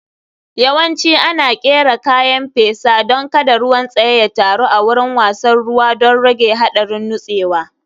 Yawanci ana ƙera kayan fesa don kada ruwan tsaye ya taru a wurin wasan ruwa don rage haɗarin nutsewa.